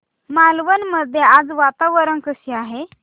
मालवण मध्ये आज वातावरण कसे आहे